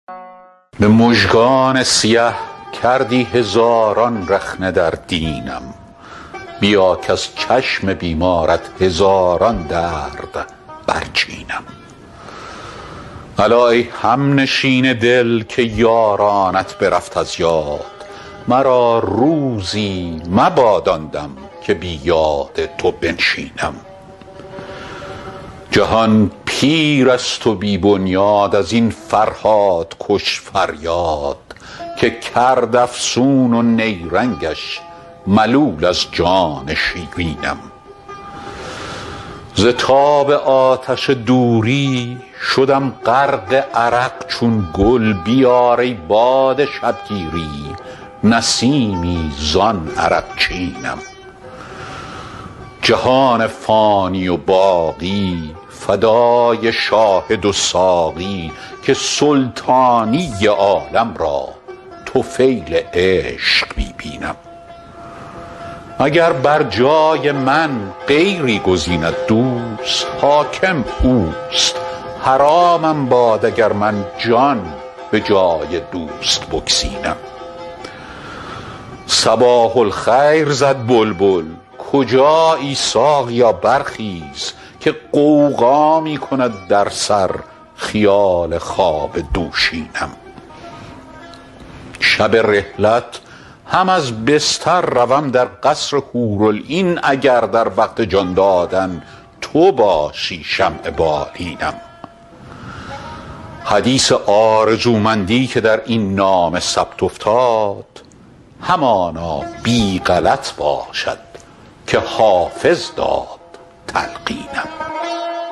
به مژگان سیه کردی هزاران رخنه در دینم بیا کز چشم بیمارت هزاران درد برچینم الا ای همنشین دل که یارانت برفت از یاد مرا روزی مباد آن دم که بی یاد تو بنشینم جهان پیر است و بی بنیاد از این فرهادکش فریاد که کرد افسون و نیرنگش ملول از جان شیرینم ز تاب آتش دوری شدم غرق عرق چون گل بیار ای باد شبگیری نسیمی زان عرقچینم جهان فانی و باقی فدای شاهد و ساقی که سلطانی عالم را طفیل عشق می بینم اگر بر جای من غیری گزیند دوست حاکم اوست حرامم باد اگر من جان به جای دوست بگزینم صباح الخیر زد بلبل کجایی ساقیا برخیز که غوغا می کند در سر خیال خواب دوشینم شب رحلت هم از بستر روم در قصر حورالعین اگر در وقت جان دادن تو باشی شمع بالینم حدیث آرزومندی که در این نامه ثبت افتاد همانا بی غلط باشد که حافظ داد تلقینم